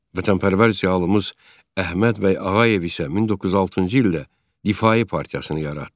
Vətənpərvər ziyalımız Əhməd bəy Ağayev isə 1906-cı ildə Difai partiyasını yaratdı.